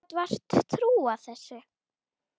Ég gat vart trúað þessu.